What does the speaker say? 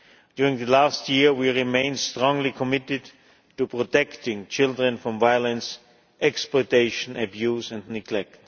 During the last year, we remained strongly committed to protecting children from violence, exploitation, abuse and neglect.